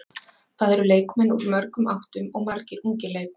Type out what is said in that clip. Það eru leikmenn úr mörgum áttum og margir ungir leikmenn.